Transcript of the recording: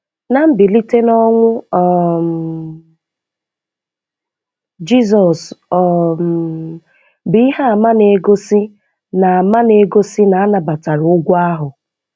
Na mbilite n'ọnwụ um Jizọs um bụ ihe àmà na-egosi na àmà na-egosi na a nabatara ụgwọ ahụ.